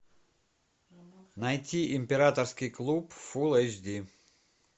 найти императорский клуб фул эйч ди